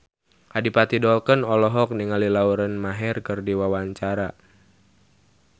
Adipati Dolken olohok ningali Lauren Maher keur diwawancara